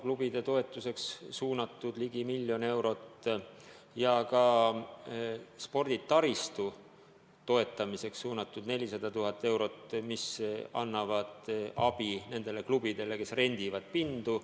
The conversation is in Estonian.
Klubide toetuseks on suunatud ligi miljon eurot ja sporditaristu toetamiseks 400 000 eurot, mis annavad abi nendele klubidele, kes rendivad pindu.